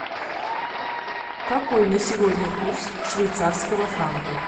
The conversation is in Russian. какой на сегодня курс швейцарского франка